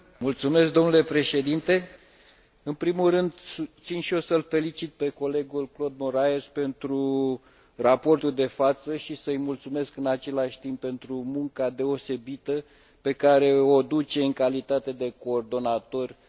În primul rând țin și eu să îl felicit pe colegul Claude Moraes pentru raportul de față și să îi mulțumesc în același timp pentru munca deosebită pe care o duce în calitate de coordonator în cadrul comisiei LIBE.